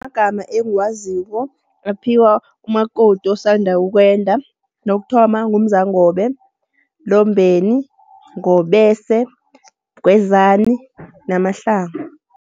Amagama engiwaziko aphiwa umakoti osanda ukwenda. Lokuthoma, nguMzangobe, Lombeni, Ngobese, Mgwezani, NaMahlangu.